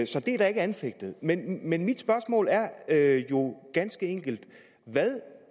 så det er ikke anfægtet men men mit spørgsmål er er jo ganske enkelt hvad